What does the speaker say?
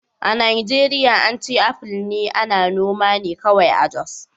A Najeriya an ce apple ana noma ne kawai a Jos